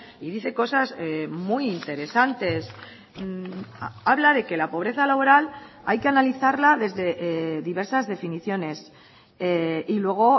y dice cosas muy interesantes habla de que la pobreza laboral hay que analizarla desde diversas definiciones y luego